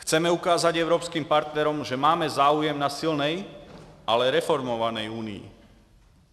Chceme ukázat evropským partnerům, že máme zájem na silné, ale reformované Unii.